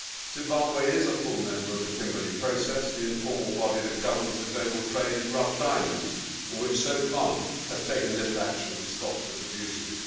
Zimbabwe is a full member of the Kimberley Process, the informal body that governs the global trade in rough diamonds and which so far has taken little action to stop such abuses.